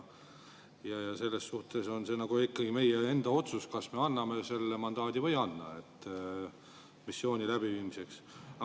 Selles suhtes on see ikkagi meie enda otsus, kas me anname selle mandaadi missiooni läbiviimiseks või ei anna.